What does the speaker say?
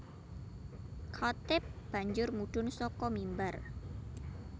Khatib banjur mudhun saka mimbar